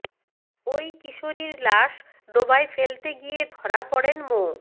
ওই কিশোরীর লাশ ডোবায় ফেলতে গিয়ে ধরা পড়েন মো